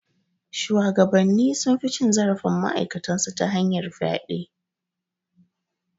Shuwagabanni sun fi cin zarafin ma'aikatan su ta hanyar fyaɗe.